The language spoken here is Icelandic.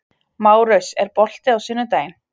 Márus, er bolti á sunnudaginn?